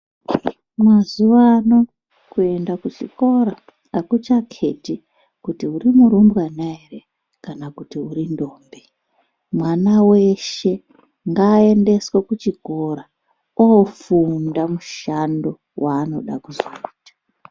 Mazuva ano kuenda kuchikora akuchaketi kuti uri murumbwana here kana kuti uri ntombi, mwana weshee ngaendeswe kuchikora ofunda mushando waanozoda kuita.